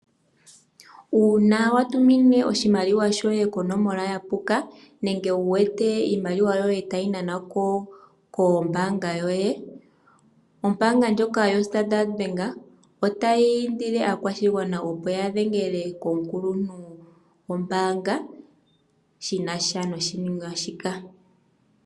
Uuna watumine oshimaliwa shoye konomola ya puka nenge wuwete iimaliwa yoye tayi nanwa ko kombaanga yoye ombaanga ndjoka yoStandard Bank otayi indile aakwashigwana opo ya dhengele komukuluntu gombaanga shina sha noshiningwanima shika.